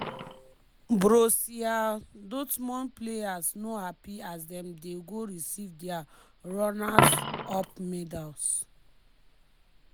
borussia dortmund players no happy as dem dey go receive dia runners-up medals.